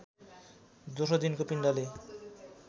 दोस्रो दिनको पिण्डले